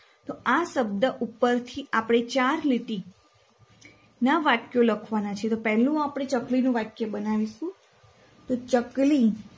તો આ શબ્દ ઉપરથી આપણે ચાર લીટીના વાક્યો લખવાના છે. પહેલું આપણે ચકલીનું વાક્ય બનાવીશું તો ચકલી